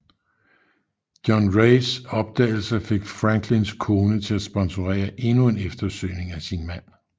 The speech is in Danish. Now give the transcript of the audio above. John Raes opdagelser fik Franklins kone til at sponsorere endnu en eftersøgning af sin mand